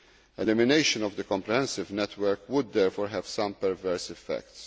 Elimination of the comprehensive network would therefore have some perverse effects.